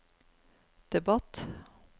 debatt